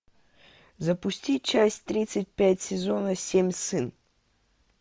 запусти часть тридцать пять сезона семь сын